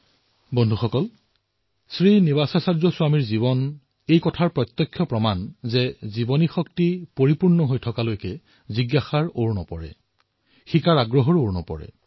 বন্ধুসকল শ্ৰী টি শ্ৰীনিবাসাচাৰ্য স্বামীজীৰ জীৱন এই কথাৰ প্ৰত্যক্ষ প্ৰমাণ যে জীৱনত তেতিয়ালৈহে শক্তি থাকে যেতিয়ালৈ জীৱনত জিজ্ঞাসা জীয়াই থাকে শিকাৰ হেঁপাহ নমৰে